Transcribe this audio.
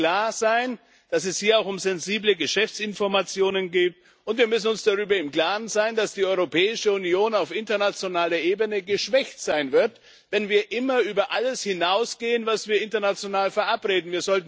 Wir müssen uns klar sein, dass es hier auch um sensible Geschäftsinformationen geht, und wir müssen uns darüber im Klaren sein, dass die Europäische Union auf internationaler Ebene geschwächt sein wird, wenn wir immer über alles hinausgehen, was wir international verabreden.